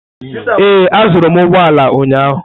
Ee, azụrụ m ụgbọ ala ụnyahụ.